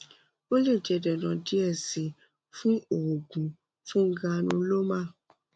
o le jẹ dandan diẹ sii fun oogun fun granuloma